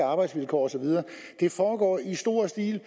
arbejdsvilkår og så videre det foregår i stor stil